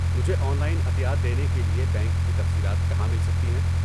مجھے online عطیات دینے کے لیے بینک کی تفصیلات کہاں مل سکتی ہیں؟